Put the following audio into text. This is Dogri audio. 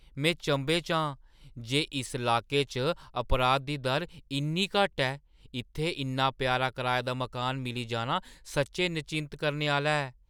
में चंभे च आं जे इस लाके च अपराध दी दर इन्नी घट्ट ऐ! इत्थै इन्ना प्यारा कराए दा मकान मिली जाना सच्चैं नचिंत करने आह्‌ला ऐ।